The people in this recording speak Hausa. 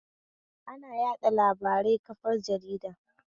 Ana yaɗa labarai kafar jarida